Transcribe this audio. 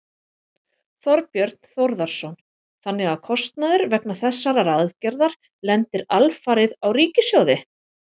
Þorbjörn Þórðarson: Þannig að kostnaður vegna þessarar aðgerðar lendir alfarið á ríkissjóði?